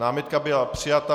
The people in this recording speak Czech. Námitka byla přijata.